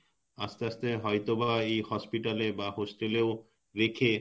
আস্তে আস্তে হয়তোবা এই hospital এ বা Hostel এ ও রেখে